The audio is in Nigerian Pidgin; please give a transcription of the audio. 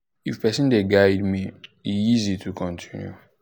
if person dey guide guide me e easy to continue.